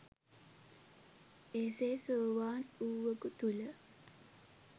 එසේ සෝවාන් වූවකු තුල